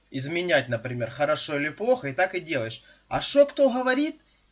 изменять например хорошо или плохо и так и делаешь а что кто говорит